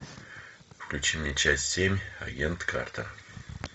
включи мне часть семь агент картер